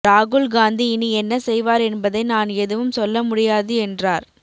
ராகுல் காந்தி இனி என்ன செய்வார் என்பதை நான் எதுவும் சொல்ல முடியாது என்றார்